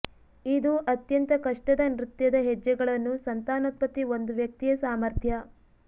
ಇದು ಅತ್ಯಂತ ಕಷ್ಟದ ನೃತ್ಯದ ಹೆಜ್ಜೆಗಳನ್ನು ಸಂತಾನೋತ್ಪತ್ತಿ ಒಂದು ವ್ಯಕ್ತಿಯ ಸಾಮರ್ಥ್ಯ